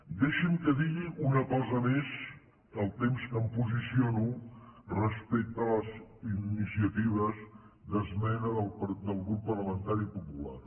deixi’m que digui una cosa més al temps que em posiciono respecte a les iniciatives d’esmena del grup parlamentari popular